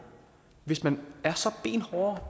hvis man er så benhårde